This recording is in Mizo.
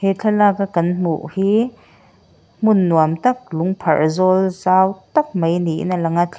he thlalaka kan hmuh hi hmun nuam tak lung pharh zawl zau tak mai niin a lang a thli--